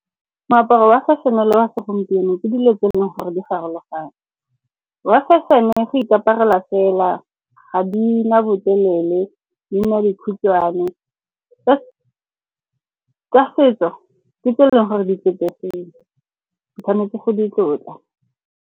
Moaparo wa fashion-e le wa segompieno ke dilo tse e leng gore di farologane. Wa fashion-e go ikaparelwa fela, ga di na botelele, di nna dikhutshwane. Tsa setso ke tse e leng gore di tlotlegile, o tshwanetse go di tlotla.